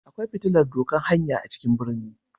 Akwai fitilar dokan hanya a cikin ɓirni.